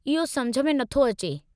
इहो समुझ में न थो अचे।